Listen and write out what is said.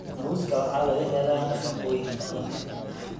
Muuska waxa laga helaa nafaqooyin badan.